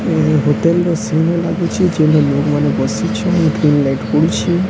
ଏଇ ହୋଟେଲ୍ ରେ ଲାଗିଚି। ଯେନ ଲୋକ୍ ମାନେ ବସିଛନ୍ ଗ୍ରୀନ ଲାଇଟ୍ ପଡ଼ୁଛି।